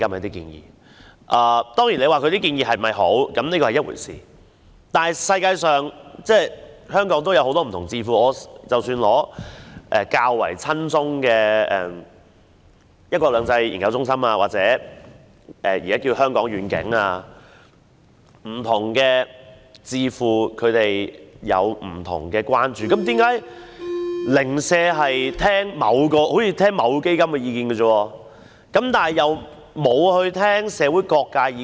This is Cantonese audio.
當然，建議的好與壞是另一回事，但全世界及香港本土也有許多不同智庫，即使是較為親中的一國兩制研究中心或現已易名的香港願景也好，不同智庫有不同的關注，為何政府單單聆聽某個團體基金的意見而忽略社會各界的意見？